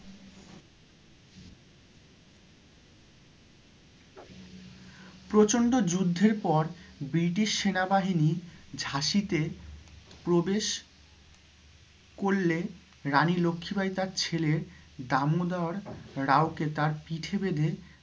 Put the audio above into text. প্রচন্ড যুদ্ধের পর British সেনা বাহিনীর ঝাঁসিতে প্রবেশ করলে রানী লক্ষি বাই তাঁর ছেলে দামোদর রাও কে তাঁর পিঠে বেঁধে